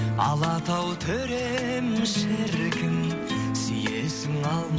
алатау төрем шіркін сүйесің